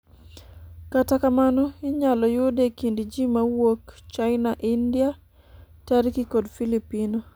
kata kamano, inyalo yude e kind jii mawuok china, India ,Tarki kod filipino